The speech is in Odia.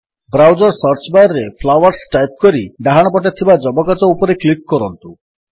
ବ୍ରାଉଜର୍ ସର୍ଚ୍ଚ ବାର୍ ରେ ଫ୍ଲାୱର୍ସ ଟାଇପ୍ କରି ଡାହାଣପଟେ ଥିବା ଯବକାଚ ଉପରେ କ୍ଲିକ୍ କରନ୍ତୁ